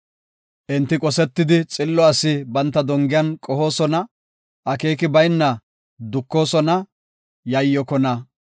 Enti qosetidi xillo asi banta dongiyan qohoosona; akeeki bayna dukoosona; yayyokona.